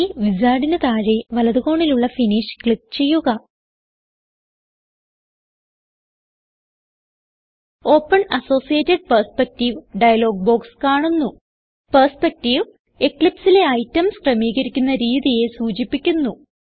ഈ Wizardന് താഴെ വലത് കോണിലുള്ള ഫിനിഷ് ക്ലിക്ക് ചെയ്യുക open associated perspective dialog box കാണുന്നു പെർസ്പെക്ടീവ് എക്ലിപ്സ് ലെ ഐറ്റംസ് ക്രമീകരിക്കുന്ന രീതിയെ സൂചിപ്പിക്കുന്നു